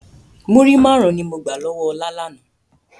Múrí máarun ni mo gbà lọ́wọ́ ọ̀la lànà.